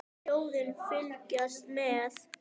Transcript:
Þjóðin fylgist með.